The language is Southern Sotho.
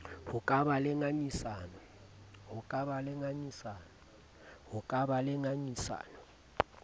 ho ka ba le ngangisano